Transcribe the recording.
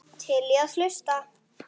Til í að hlusta.